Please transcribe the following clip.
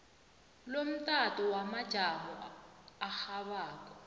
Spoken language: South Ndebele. lomtato wamajamo arhabako